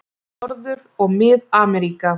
Norður- og Mið-Ameríka